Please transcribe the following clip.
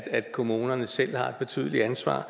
at kommunerne selv har et betydeligt ansvar